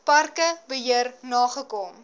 parke beheer nagekom